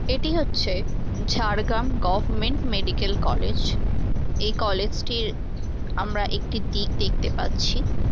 এটি হচ্ছে-এ Jhargram government medical college. এই কলেজ -টির আমরা একটি দিক দেখতে পাচ্ছি-ই।